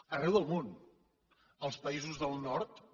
arreu del món als països del nord també